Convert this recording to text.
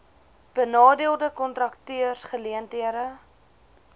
benadeelde kontrakteurs geleenthede